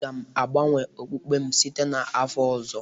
Aga m agbanwe okpukpe m site n'afọ ọzọ